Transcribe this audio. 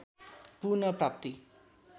पुनः प्राप्ति